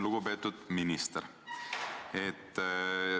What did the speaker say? Lugupeetud minister!